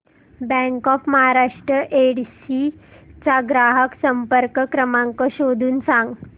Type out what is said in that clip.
bank of Maharashtra Yedshi चा ग्राहक संपर्क क्रमांक शोधून सांग